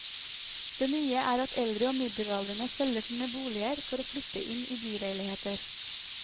Det nye er at eldre og middelaldrende selger sine boliger for å flytte inn i byleiligheter.